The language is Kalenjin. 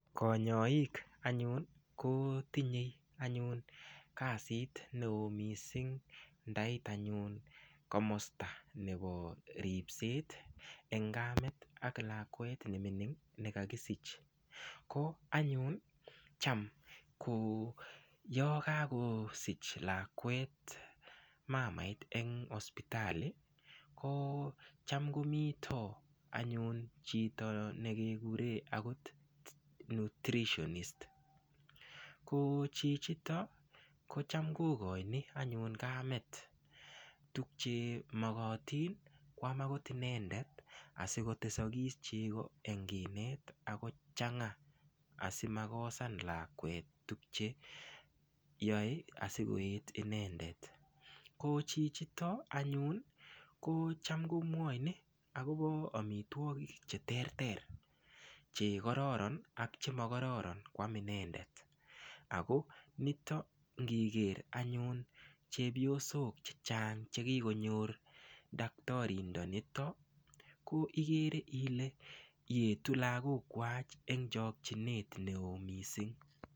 Konyoik anyun ko tinyei anyun kasit ne oo mising' ndait anyun komosta nebo ripset eng' kamet ak lakwet nemining' nekakisich ko anyun cham yo kakosich lakwet mamait eng' hospitality ko cham komito anyun akot chito nekekure nutritionist ko chichito ko cham kokoini anyun kamet tukche mokotin koam akot inendet asikotesokis chego eng' kinet ako chang'a asimakosan lakwet tukcheyoi asikoket inendet ko chichito anyun ko cham komwoini akobo omitwokik cheterter chekororon ak chemakororon koam inendet ako nito ngiker anyun chepyosok chechang' chekikonyor daktarindanitok ko ikere Ile etu lakokwach eng' chokchinet ne oo mising'